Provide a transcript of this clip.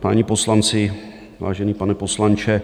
páni poslanci, vážený pane poslanče.